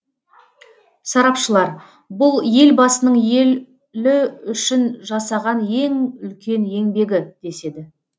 сарапшылар бұл елбасының елі үшін жасаған ең үлкен еңбегі деседі